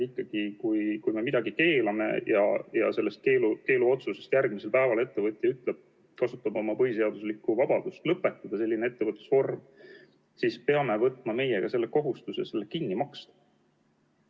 Ikkagi, kui me midagi keelame ja järgmisel päeval pärast seda keelamist ettevõtja ütleb, et ta kasutab oma põhiseaduslikku vabadust lõpetada selline ettevõtlus, siis me peame võtma kohustuse see kinni maksta.